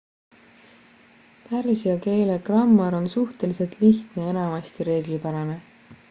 pärsia keele grammar on suhteliselt lihtne ja enamasti reeglipärane